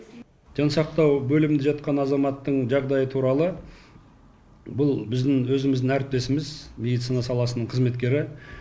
жансақтау бөлімінде жатқан азаматтың жағдайы туралы бұл біздің өзіміздің әріптесіміз медицина саласының қызметкері